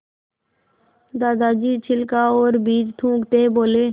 दादाजी छिलका और बीज थूकते बोले